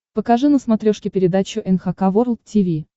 покажи на смотрешке передачу эн эйч кей волд ти ви